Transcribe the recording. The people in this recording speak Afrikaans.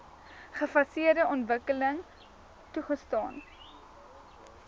gefaseerde ontwikkeling toegestaan